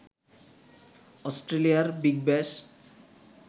অস্ট্রেলিয়ার বিগ ব্যাশ